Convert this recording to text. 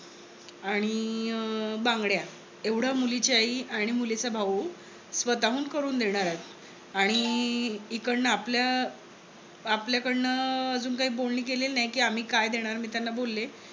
आणि बांगड्या. एवढ मुलीची आई आणि मुलीचा भाऊ स्वतःहून करून देणार आहेत. आणि ईकडण आपल्या कडन अं अजून काही बोलणी केलेली नाही कि आम्ही काय देणार मी त्यांना बोलले